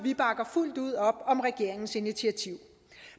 bakker fuldt ud op om regeringens initiativ